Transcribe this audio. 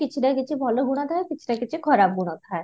କିଛି ନା କିଛି ଭଲ ଗୁଣ ଥାଏ କିଛି ନା କିଛି ଖରାପ ଗୁଣ ଥାଏ